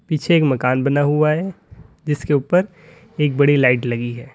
पीछे एक मकान बना हुआ है जिसके ऊपर एक बड़ी लाइट लगी है।